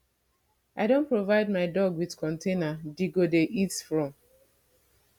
i don provide my dog with container d go dey eat from